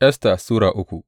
Esta Sura uku